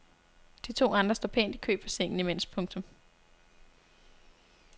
De to andre står pænt i kø på sengen imens. punktum